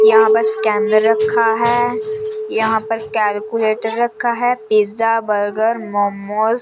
यहाँ पर स्केनर रखा है यहां पर कैलकुलेटर रखा है पिज़्ज़ा बर्गर मोमोज --